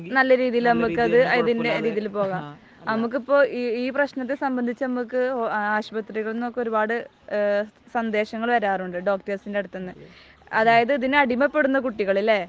നല്ല രീതിയിൽ നമുക്കത് അതിന്റെ രീതിയിൽ പോകാം. നമുക്കിപ്പോൾ ഈ പ്രശ്നത്തെ സംബന്ധിച്ച് നമുക്ക് ആശുപത്രി, ആശുപത്രിയിൽ നിന്നൊക്കെ ഒരുപാട് സന്ദേശങ്ങൾ വരാറുണ്ട്. ഡോക്ടേഴ്സിന്റെ അടുത്തുനിന്ന്. അതായത് ഇതിന് അടിമപ്പെടുന്ന കുട്ടികൾ അല്ലേ?